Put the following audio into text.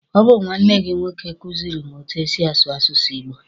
Ọ bụ nwanne gị nwoke kuziri m etu e si asụ asụsụ Igbo.